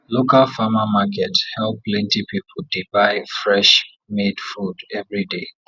local farmer market help plenty people dey buy fresh made food every day